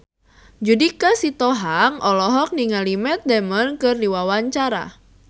Judika Sitohang olohok ningali Matt Damon keur diwawancara